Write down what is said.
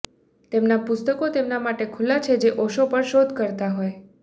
તેમના પુસ્તકો તેમના માટે ખુલ્લા છે જે ઓશો પર શોધ કરતા હોય